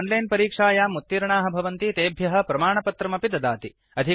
ये च आन्लैन् परीक्षायाम् उत्तीर्णाः भवन्ति तेभ्यः प्रमाणपत्रम् अपि ददाति